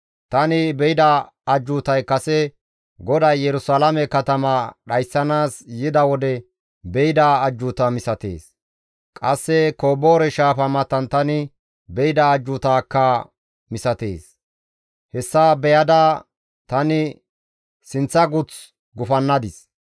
Tani be7ida ajjuutay kase GODAY Yerusalaame katama dhayssanaas yida wode be7ida ajjuuta misatees; qasse Koboore shaafa matan tani be7ida ajjuutakka misatees. Hessa beyada tani sinththa guth gufannadis.